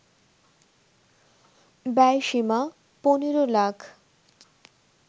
ব্যয়সীমা ১৫ lakh